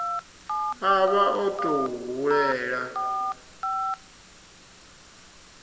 a vha o tou hulela